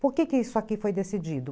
Por que isso aqui foi decidido?